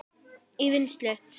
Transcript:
í vinnslu